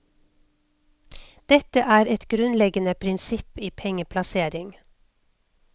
Dette er et grunnleggende prinsipp i pengeplassering.